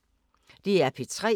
DR P3